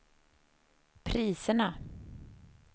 priserna